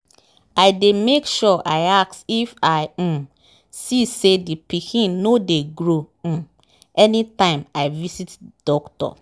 i dey make sure i ask if i um see say the pikin nor dey grow um anytime i visit doctor.